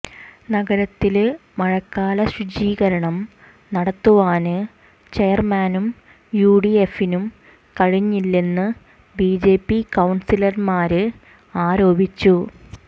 നഗരത്തില് മഴക്കാല ശുചീകരണം നടത്തുവാന് ചെയര്മാനും യുഡിഎഫിനും കഴിഞ്ഞില്ലെന്ന് ബിജെപി കൌണ്സിലര്മാര് ആരോപിച്ചു